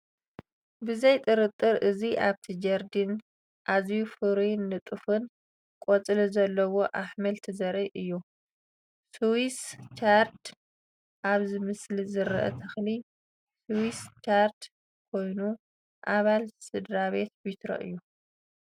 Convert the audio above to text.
ብዘይ ጥርጥር! እዚ ኣብቲ ጀርዲን ኣዝዩ ፍሩይን ንጡፍን ቆጽሊ ዘለዎ ኣሕምልቲ ዘርኢ እዩ። ስዊስ ቻርድ፡- ኣብዚ ምስሊ ዝርአ ተኽሊ ስዊስ ቻርድ ኮይኑ፡ ኣባል ስድራቤት ቢትሮ እዩ።